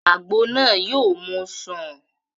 Àgbo náà yóò mú u sùn